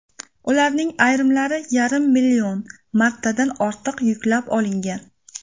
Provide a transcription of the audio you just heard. Ularning ayrimlari yarim million martadan ortiq yuklab olingan.